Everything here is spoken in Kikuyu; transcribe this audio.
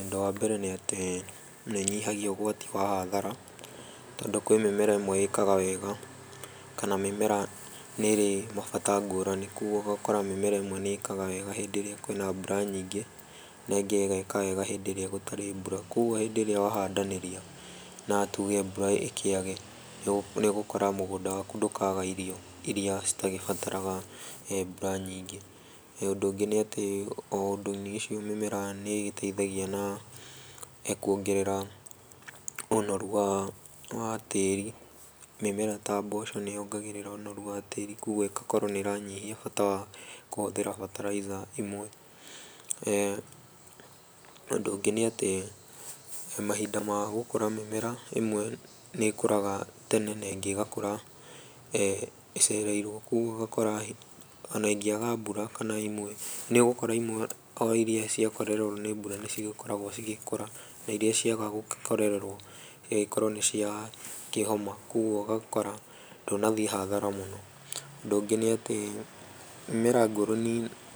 Ũndũ wa mbere nĩ atĩ nĩ ĩnyihagia ũgwati wa hathara tondũ kwĩ mĩmera ĩmwe ĩkaga wega kana mĩmera nĩ ĩrĩ mabata ngũrani kogũo ũgakora mĩmera ĩmwe nĩ ĩkaga wega hĩndĩ ĩrĩa kwĩna mbũra nyingĩ na ĩngĩ ĩgeka wega hĩndĩ ĩrĩa gũratĩ mbũra kogũo hĩndĩ ĩrĩa wahandanĩria na tũge mbũra ĩkĩage nĩ ũgũkora mũgũnda waku ndũkaga irio ĩrĩa citagĩbataraga mbũra nyingĩ, ũndũ ũngĩ nĩ atĩ o ũndũ-inĩ ũcio mĩmera nĩ ĩgĩteithagia na kwongerera ũnoru wa tĩri mĩmera ta mboco nĩ yongagĩrĩra onũru wa tĩri kogũo ĩgakorwo nĩ ĩranyihia bata wa kũhũthĩra mbataraitha imwe ,ũndũ ũngĩ nĩ atĩ mahinda ma gũkũra mĩmera ĩmwe nĩ ĩkũraga tene na ĩngĩ ĩgakũra ĩcereirwo kogũo ũgakora ona ĩngĩ aga mbura kana nĩ ũgũkora imwe o irĩa ciakorerewo nĩ mbura nĩcio ikoragwo igĩkũra na irĩa ciaga gũgĩkorererwo igagĩkorwo nĩ cia kĩhoma kogũo ũgagĩkora ndũnathiĩ hathara mũno, ũndũ ũngĩ nĩ atĩ mĩmera ngũrani